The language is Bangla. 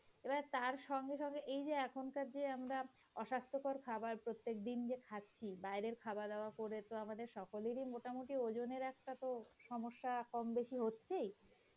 এবার তার সঙ্গে সঙ্গে এই যে এখনকার যে আমরা অস্বাহঃস্থ্যকর খাবার প্রত্যেক দিন যে খাচ্ছি বাইরের খাওয়া দাওয়া করে তো আমাদের সকলেরই মোটামুটি ওজনের একটা সমস্যা কমবেশি হচ্ছেই,